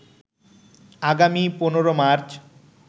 আগামী ১৫ মার্চ